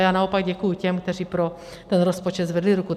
A já naopak děkuji těm, kteří pro ten rozpočet zvedli ruku.